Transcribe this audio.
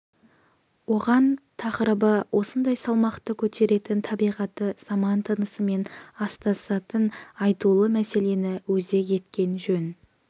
оған тақырыбы осындай салмақты көтеретін табиғаты заман тынысымен астасатын айтулы мәселені өзек еткен жөн